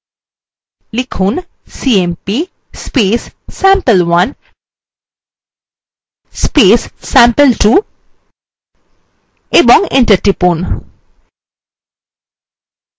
লিখুন cmp sample1 sample2 এবং enter টিপুন